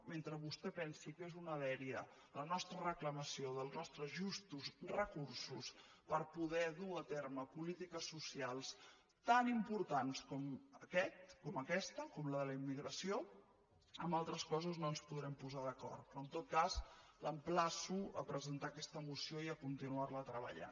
mentre vostè pensi que és una dèria la nostra reclamació dels nostres justos recursos per poder dur a terme polítiques socials tan importants com aquesta com la de la immigració en altres coses no ens podrem posar d’acord però en tot cas l’emplaço a presentar aquesta moció i a continuar la treballant